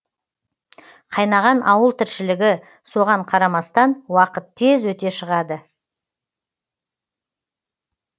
қайнаған ауыл тіршілігі соған қарамастан уақыт тез өте шығады